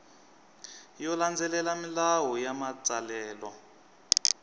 yo landzelela milawu ya matsalelo